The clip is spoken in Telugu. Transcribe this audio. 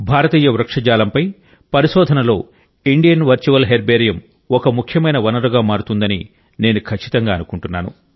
భారతీయ వృక్షజాలంపై పరిశోధనలో ఇండియన్ వర్చువల్ హెర్బేరియం ఒక ముఖ్యమైన వనరుగా మారుతుందని నేను ఖచ్చితంగా అనుకుంటున్నాను